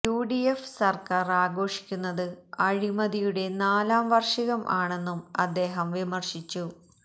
UDF സർക്കാർ ആഘോഷിക്കുന്നത് അഴിമതിയുടെ നാലാം വാർഷികം ആണെന്നും അദ്ദേഹം വിമർശിച്ചു